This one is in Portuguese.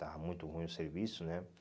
estava muito ruim o serviço, né?